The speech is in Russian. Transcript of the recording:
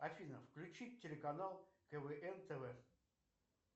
афина включить телеканал квн тв